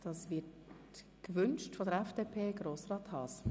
Das Wort haben die Fraktionen.